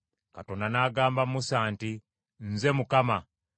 Katonda n’agamba Musa nti, “Nze Mukama .